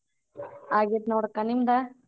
ಆಗೆೇತ್ ನೋಡಕ ನಿಮ್ದ?